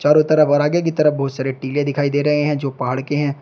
चारों तरफ और आगे की तरफ बहुत सारे टिले दिखाई दे रहे हैं जो पहाड़ के हैं।